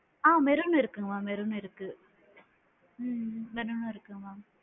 ஆ maroon இருக்கு mam maroon இருக்கு உம் maroon இருக்கு ma'am